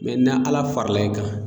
mɛ na ala fara e kan